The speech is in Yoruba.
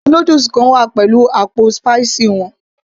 àwọn noodles kan wá pẹ̀lú àpò spicy wọn